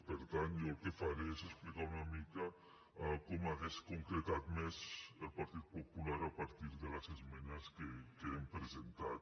per tant jo el que faré és explicar una mica com hauria concretat més el partit popular a partir de les esmenes que hem presentat